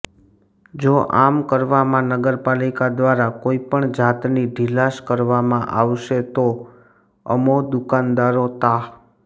જો આમ કરવામાં નગરપાલિકા દ્વારા કોઈપણ જાતની ઢીલાશ કરવામાં આવશે તો અમો દુકાનદારો તા